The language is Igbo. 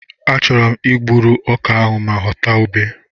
Achọrọ m I gburu ọka ahụ ma ghọta ube.